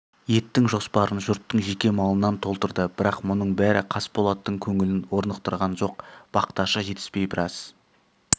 еттің жоспарын жұрттың жеке малынан толтырды бірақ мұның бәрі қасболаттың көңілін орнықтырған жоқ бақташы жетіспей біраз